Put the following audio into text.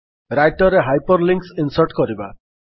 Writer ରେ hyperlinks insert କରିବା